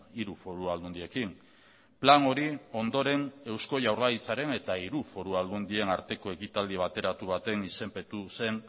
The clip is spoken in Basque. hiru foru aldundiekin plan hori ondoren eusko jaurlaritzaren eta hiru foru aldundien arteko ekitaldi bateratu baten izenpetu zen